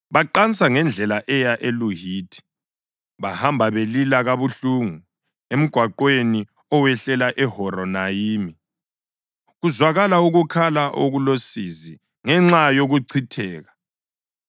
Baqansa ngendlela eya eLuhithi, bahamba belila kabuhlungu, emgwaqweni owehlela eHoronayimi, kuzwakala ukukhala okulosizi ngenxa yokuchitheka.